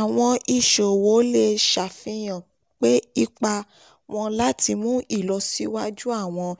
àwọn iṣòwò lè ṣafihan ipa wọn láti mu ìlọsíwájú àwọn